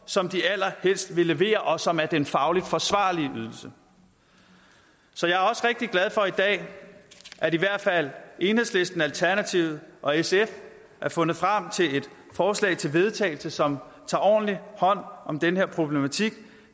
som de allerhelst vil levere og som er den fagligt forsvarlige ydelse så jeg er også rigtig glad for i dag at i hvert fald enhedslisten alternativet og sf har fundet frem til et forslag til vedtagelse som tager ordentlig hånd om den her problematik